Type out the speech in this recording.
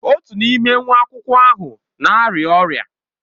Otu n'ime nwa akwụkwọ ahụ na-arịa ọrịa.